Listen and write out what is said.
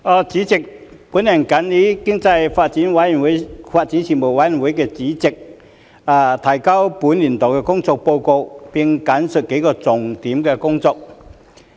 主席，我謹以經濟發展事務委員會主席的身份，提交本年度的工作報告，並簡述數項重點工作。